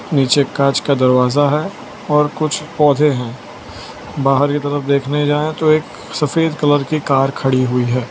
नीचे कांच का दरवाजा है और कुछ पौधे हैं बाहर की तरफ देखने जाएं तो एक सफेद कलर की कार खड़ी हुई है।